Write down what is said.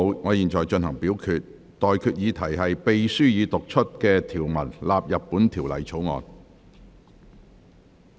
我現在向各位提出的待決議題是：秘書已讀出的條文納入本條例草案。